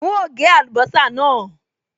N óò gé àlùbọ́sà náà